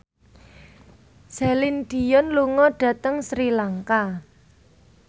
Celine Dion lunga dhateng Sri Lanka